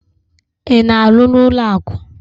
Ị na-arụ n'ụlọakụ?